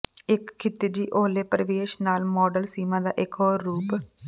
ਇੱਕ ਖਿਤਿਜੀ ਓਹਲੇ ਪ੍ਰਵੇਸ਼ ਨਾਲ ਮਾਡਲ ਸੀਮਾ ਦਾ ਇਕ ਹੋਰ ਰੂਪ